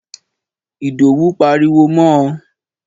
Ìdòwú pariwo mọ ò